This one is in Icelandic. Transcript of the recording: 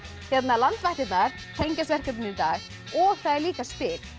landvættirnar tengjast verkefninu í dag og það er líka spil